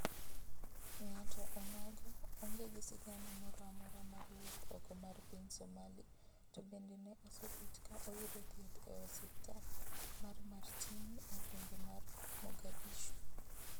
Ng'ato onogo onge gi sigana moro amora mar wuok oko mar piny Somali to bende ne osebet ka oyudo thieth e osipltal mar Martini e gwenge mag Morgadishu